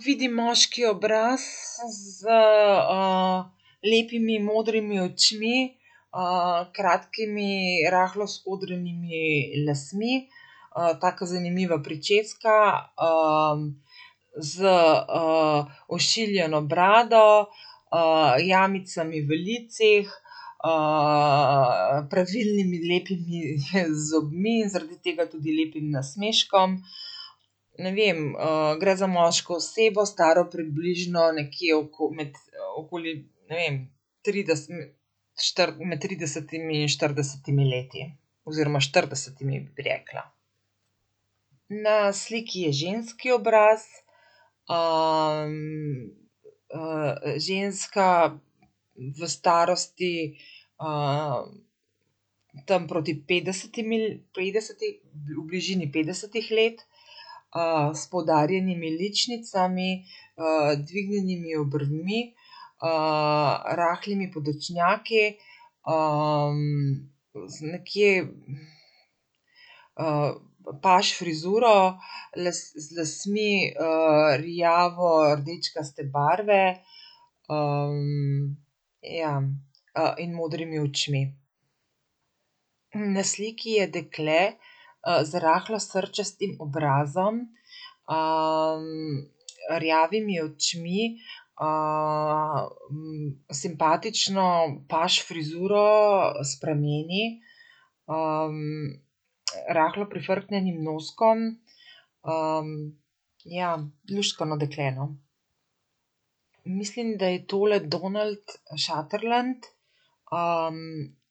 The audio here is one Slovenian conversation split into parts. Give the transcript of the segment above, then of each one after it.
vidim moški obraz z, lepimi modrimi očmi, kratkimi, rahlo skodranimi lasmi, taka zanimiva pričeska, z, ošiljeno brado, jamicami v licih, pravilnimi lepimi, zobmi, zaradi tega tudi lepim nasmeškom. Ne vem, gre za moško osebo, staro približno nekje med okoli, ne vem, med tridesetimi in štiridesetimi leti. Oziroma štiridesetimi, bi rekla. Na sliki je ženski obraz, ženska v starosti, tam proti petdesetimi petdeseti, v bližini petdesetih let. s poudarjenimi ličnicami, dvignjenimi obrvmi, rahlimi podočnjaki, z nekje, paž frizuro z lasmi, rjavordečkaste barve. ja, in modrimi očmi. na sliki je dekle, z rahlo srčastim obrazom, rjavimi očmi, simpatično paž frizuro s prameni, rahlo prifrknjenim noskom, Ja, luštkano dekle, no. Mislim, da je tole Donald Sutherland,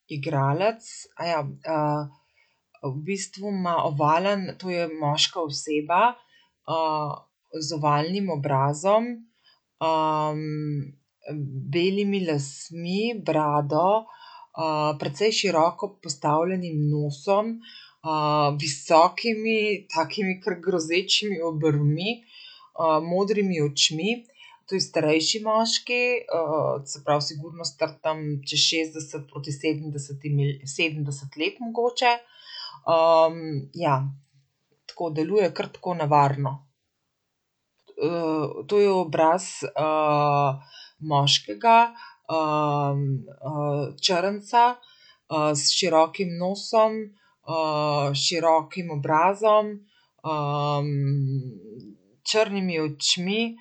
igralec, v bistvu ima ovalen, to je moška oseba, z ovalnim obrazom, belimi lasmi, brado. precej široko postavljenim nosom, visokimi, takimi kar grozečimi obrvmi, modrimi očmi. To je starejši moški, od se pravi sigurno star tam čez šestdeset proti sedemdesetimi sedemdeset let mogoče. ja. Tako deluje kar tako nevarno. to je obraz, moškega, črnca. s širokim nosom, s širokim obrazom, črnimi očmi,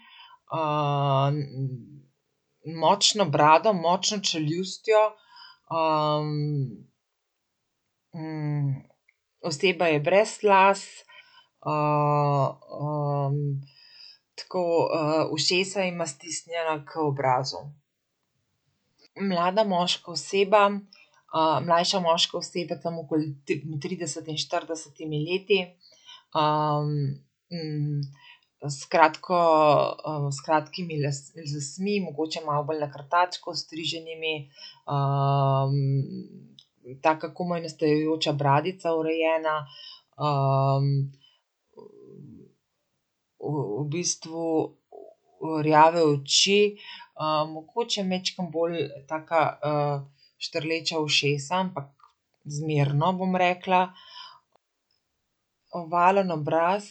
močno brado, močno čeljustjo. oseba je brez las, tako, ušesa ima stisnjena k obrazu. Mlada moška oseba, mlajša moška oseba tam okoli trideset in štiridesetimi leti. s kratko, s kratkimi lasmi, mogoče malo bolj na krtačko ostriženimi. taka komaj nastajajoča bradica, urejena. V bistvu rjave oči, mogoče majčkeno bolj taka, štrleča ušesa, ampak zmerno, bom rekla. Ovalen obraz,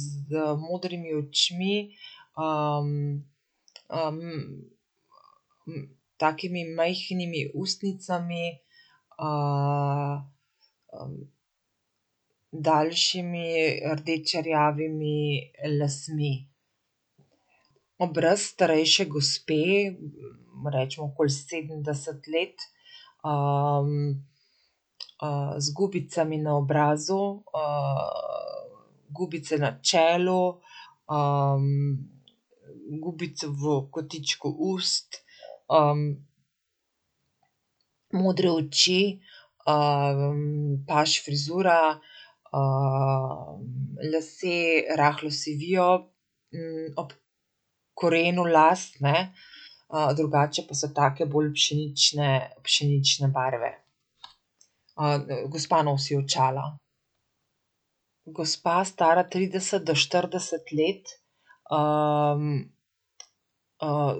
z modrimi očmi, takimi majhnimi ustnicami, daljšimi rdečerjavimi lasmi. Obraz starejše gospe, recimo okoli sedemdeset let. z gubicami na obrazu, gubice na čelu, gubice v kotičku ust, modre oči, paž frizura, lasje rahlo sivijo, korenu las, ne. drugače pa so take bolj pšenične, pšenične barve. gospa nosi očala. Gospa, stara trideset do štirideset let,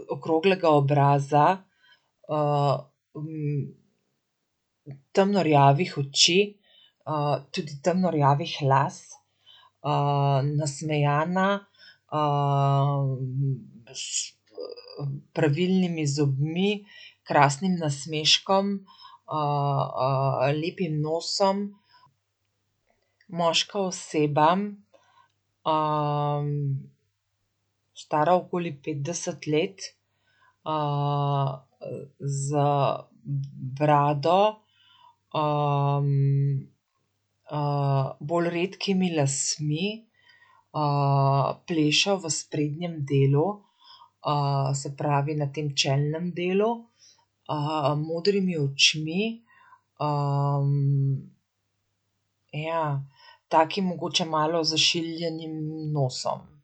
okroglega obraza, temno rjavih oči, tudi temno rjavih las, nasmejana, s, pravilnimi zobmi, krasnim nasmeškom, lepim nosom. Moška oseba, stara okoli petdeset let, z brado, bolj redkimi lasmi, plešo v sprednjem delu, se pravi na tem čelnem delu. modrimi očmi, ja, takim mogoče malo zašiljenim nosom.